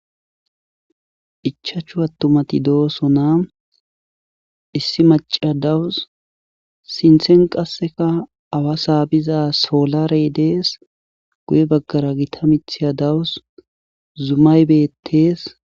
Ichachu attumati doosona ,issi macciya dawus,sinthen qassika awa saabiza soolarey dees,guye baggara gita mithiya dawus, zumay beettees.